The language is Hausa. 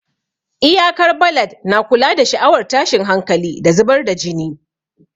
Iyakar balad na kula da sha'awar tashin hankali, da zubar da jini.